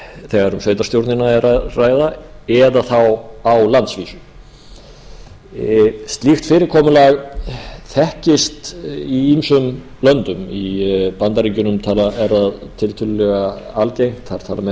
þegar um sveitarstjórnina er að ræða eða þá á landsvísu slíkt fyrirkomulag þekkist í ýmsum löndum í bandaríkjunum er það tiltölulega algengt þar tala menn